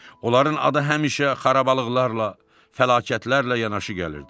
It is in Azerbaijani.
Onların adı həmişə xarabalıqlarla, fəlakətlərlə yanaşı gəlirdi.